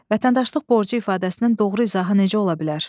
Vətəndaşlıq borcu ifadəsinin doğru izahı necə ola bilər?